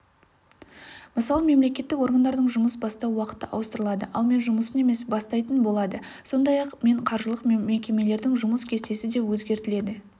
мысалы мемлекеттік органдардың жұмыс бастау уақыты ауыстырылады ал мен жұмысын емес бастайтын болады сондай-ақ мен қаржылық мекемелердің жұмыс кестесі де өзгертіледі